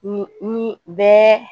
Ni ni bɛɛ